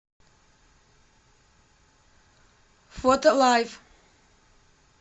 фотолайф